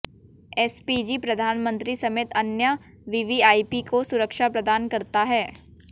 SPG प्रधानमंत्री समेत अन्य वीवीआईपी को सुरक्षा प्रदान करता है